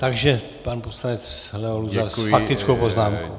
Takže pan poslanec Leo Luzar s faktickou poznámkou.